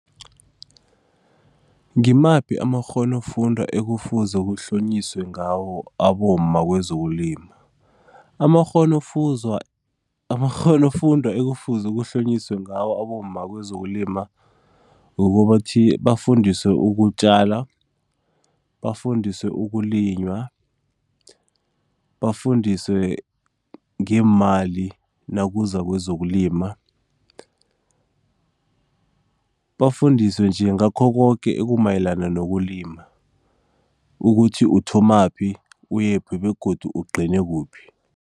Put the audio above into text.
Ngimaphi amakghonofundwa ekufuze kuhlonyiswe ngawo abomma kwezokulima? Amakghonofundwa ekufuze kuhlonyiswe ngawo abomma kwezokulima ukuthi bafundiswe ukutjala, bafundiswe ukulinywa, bafundiswe ngeemali nakuza kwezokulima, bafundiswe nje ngakho koke ekumayelana nokulima ukuthi uthomaphi uyephi begodu ugcine kuphi.